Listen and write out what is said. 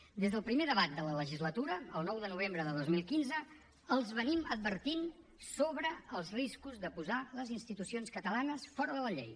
des del primer debat de la legislatura el nou de novembre de dos mil quinze els anem advertint sobre els riscos de posar les institucions catalanes fora de la llei